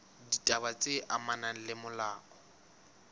ditaba tse amanang le molao